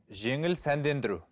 жеңіл сәндендіру